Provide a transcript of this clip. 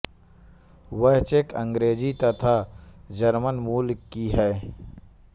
वह चेक अंग्रेजी तथा जर्मन मूल की हैं